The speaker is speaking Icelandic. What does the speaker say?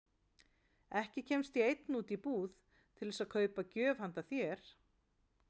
Ekki kemst ég einn út í búð til þess að kaupa gjöf handa þér